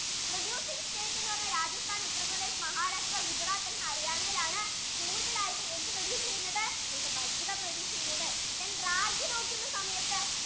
major producing state എന്ന് പറഞ്ഞാൽ Rajasthan, UttarParadesh, GujaratandHaryana കൂടുതൽ ആയിട്ടു എന്ത് produce ചെയുന്നത് bajra produce ചെയുന്നത് ragi നോക്കുന്ന സമയത്തു